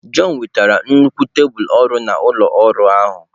John wetara nnukwu tebụl ọrụ na ụlọ ọrụ ahụ.